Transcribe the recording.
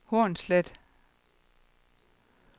Hornslet